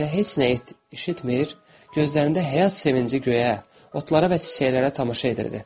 Qız isə heç nə eşitmr, gözlərində həyat sevinci göyə, otlara və çiçəklərə tamaşa edirdi.